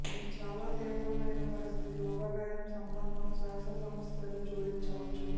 ఈ చాలా తీవ్రమైన పరిస్థితి ఊబకాయం సంబంధం శ్వాస సమస్యలు జోడించవచ్చు